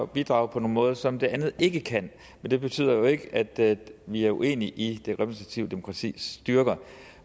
bidrage på nogle måder som det andet ikke kan men det betyder jo ikke at vi er uenige i det repræsentative demokratis styrker